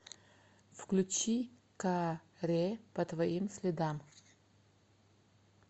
включи ка ре по твоим следам